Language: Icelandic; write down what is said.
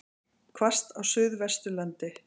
Hvasst á Suðvesturlandi